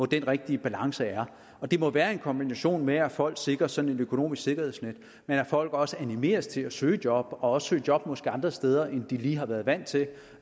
den rigtige balance er det må være en kombination af at folk sikres sådan et økonomisk sikkerhedsnet men at folk også animeres til at søge job og også søge job måske andre steder end de lige har været vant til